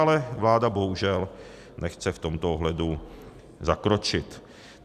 Ale vláda bohužel nechce v tomto ohledu zakročit.